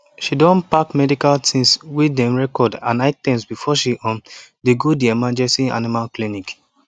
she don pack medical tins wey dem record and items before she um dey go the emergency animal clinic